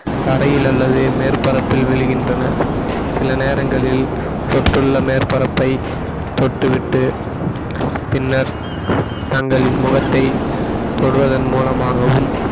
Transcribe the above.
தரையில் அல்லது மேற்பரப்பில் விழுகின்றன சில நேரங்களில் தொற்றுள்ள மேற்பரப்பை தொட்டுவிட்டு பின்னர் தங்களின் முகத்தை தொடுவதன் மூலமாகவும்